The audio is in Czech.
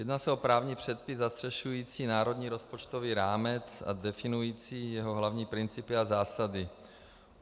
Jedná se o právní předpis zastřešující národní rozpočtový rámec a definující jeho hlavní principy a zásady.